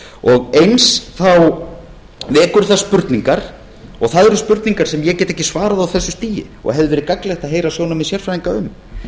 og eins vekur það spurningar og það eru spurningar sem ég get ekki svarað á þessu stigi og hefði verið gagnlegt að heyra sjónarmið sérfræðinga um